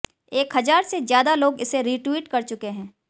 एक हजार से ज्यादा लोग इसे रीट्वीट कर चुके हैं